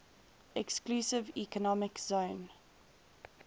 exclusive economic zone